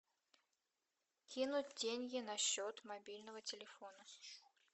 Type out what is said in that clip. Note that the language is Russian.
кинуть деньги на счет мобильного телефона